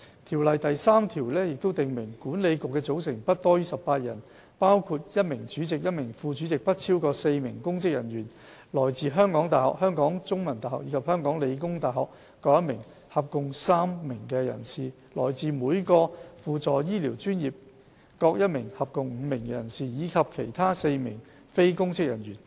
《條例》第3條訂明，管理局的組成不多於18人，包括1名主席、1名副主席、不超過4名公職人員、來自香港大學、香港中文大學及香港理工大學各1名合共3名人士、來自每個輔助醫療專業各1名合共5名人士，以及其他4名非公職人員。